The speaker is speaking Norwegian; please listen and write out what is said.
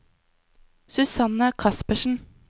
Susanne Kaspersen